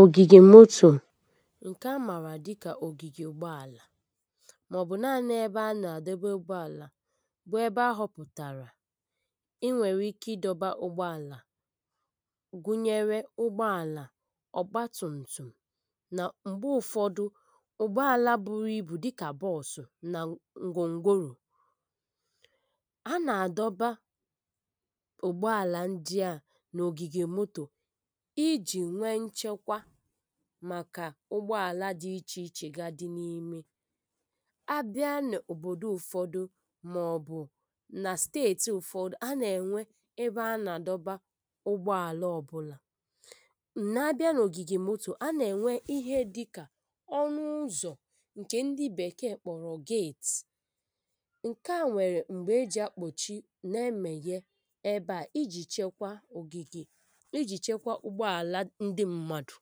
ògìgè mòtò ǹkè a mààrà dịkà ògìgè ụgbọàlà màọ̀bụ̀ naanị ebe a nà-àdọba ụgbọàlà bụ̀ ebe a họpụ̀tàrà i nwèrè ike ịdọ̇bȧ ụgbọàlà, gụ̀nyèrè ụgbọàlà ọ̀gbatụ̀ǹtụ̀ nà m̀gbè ụ̀fọdụ̀ ụgbọàlà buru ìbù dịkà bọ̀ọsụ̀ nà ngwongworò. A nà-àdọba ụgbọàlà ndị à nà ògìgè mòtò iji nwe nchekwa, màkà ụgbọàlà dị iche-iche gà-adị n’ime àbịa n’òbòdò ụ̀fọdụ̀ màọ̀bụ̀ nà stẹetì ụ̀fọdụ̀ a nà-ènwe ebe a nà-àdọba ụgbọàlà ọbụla nà-abịa n’ògìgè mòtò. Ọ̀ a nà-ènwe ihe dịkà ọnụ̀-ụ́zọ̀ ǹkè ndị bèkeè kpọ̀rọ̀ gate ǹkè a nwèrè m̀gbè e jì akpọ́chi nà-emèghe ebe a ijì chekwa ògìgè, ịjị chekwà ụgbọàlà ndị mmadụ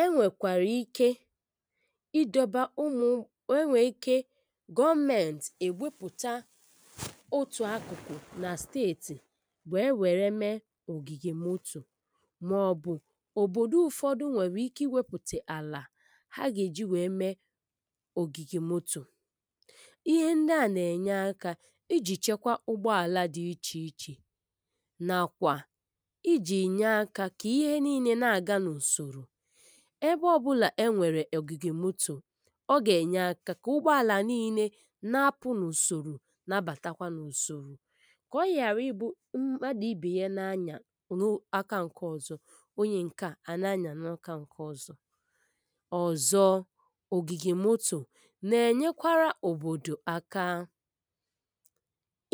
e nwèkwàrà ike idọ̀ba ụmụ̀, enwèkwà ike gọọmentì èwepụ̀tà otù akụ̀kụ̀ nà stẹetì wèe wèrè mee ògìgè mòtò, màọ̀bụ̀ òbòdò ụ̀fọdụ̀ nwèrè ike iwepụ̀tà àlà ha gà-èjì wèe mee ògìgè mòtò.ihe ndíà nà-ènye aka ijì chekwà ụgbọàlà dị iche-iche na kwà ịjì nye aka ka ihe niile na-aga n’usoro. Ebe ọbụla e nwèrè ògìgè mòtò, ọ gà-ènye aka kà ụgbọàlà niile na-apụ̇ n’ùsòrò, na-abàtakwa n’ùsòrò kà ọ ghàrà ibu mmadụ̀ ibè ya na-anyà n’aka ǹkè ọ̀zọ, onye ǹkè a nà-anyà n’aka ǹkè ọ̀zọ ọ̀zọ, ògìgè mòtò nà-ènyekwara òbòdò aka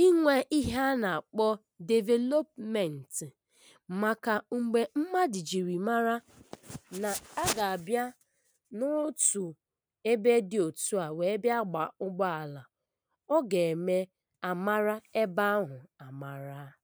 inwe ihe a nà-akpọ developmentị, màkà mgbe mmadụ̀ jiri mara nà-agàbịa n’otù ebe edị̇ òtu à, wèe bịa gbà ụgbọàlà, ọ gà-ème a màrà ebe ahụ̀ à màrà.